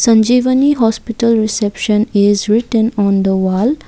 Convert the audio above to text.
sanjeevani hospital reception is written on the wall.